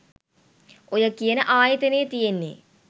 ඔය කියන ආයතනය තියෙන්නේ